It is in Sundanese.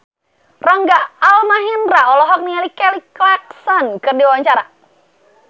Rangga Almahendra olohok ningali Kelly Clarkson keur diwawancara